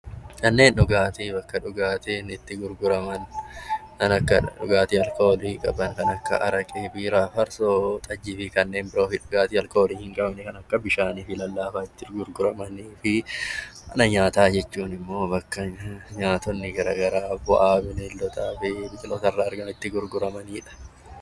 Manneen dhugaatii mana dhugaatiin itti gurguramudha. Kan akka dhugaatii alkoolii, kan akka araqee, biiraa, forsoo, xajjii fi kanneen dhugaatii alkoolii hin taane akka bishaanii fi lallaafaa itti gurguramanii fi mana nyaataa jechuun immoo bakka nyaatonni gara garaa bu'aa bineeldotaa fi biqilootaa irraa argaman itti gurguramanidha.